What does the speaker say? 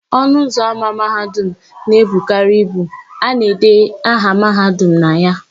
Ọnụụzọ ámá Mahadum na-ebukarị ibu; a na-ede aha Mahadum na ya.